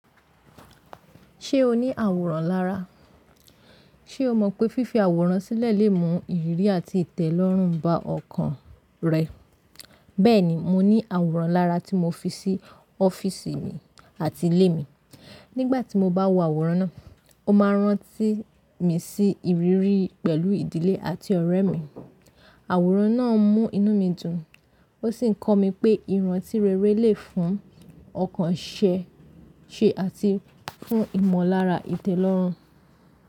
Ṣé o ní àwòrán lára? Ṣé o mọ̀ pé fífi àwòrán sílẹ̀ lè mú ìrírí àti ìtẹ̀lọ́rùn bá ọkàn rẹ? Bẹ́ẹ̀ni, mo ní àwòrán lára tí mo fi sí ọ́fíìsì mi àti ilé mi. Nígbà tí mo bá wo àwòrán náà, ó máa rántí mi sí ìrírí pẹ̀lú ìdílé àti ọ̀rẹ́ mi. Àwòrán náà ń mú inú mi dùn, ó sì ń kọ́ mi pé ìrántí rere lè fún ọkàn ṣẹ́ ṣe àti fún ìmọ̀lára ìtẹ̀lọ́rùn.